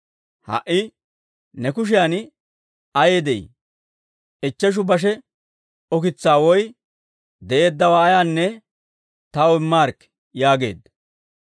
Ha"i ne kushiyan ayay de'ii? Ichcheshu bashe ukitsaa woy de'eeddawaa ayaanne taw immaarikkii» yaageedda.